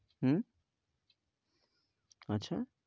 উম আচ্ছা